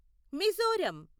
Mizoram